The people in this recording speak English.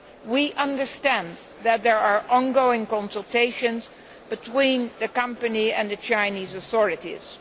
We understand that there are ongoing consultations between the company and the Chinese authorities.